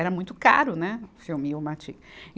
Era muito caro, né, o filme e o mati e.